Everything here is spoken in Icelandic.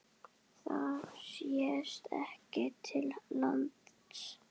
Það sést ekki til lands.